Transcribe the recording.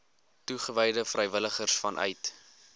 toegewyde vrywilligers vanuit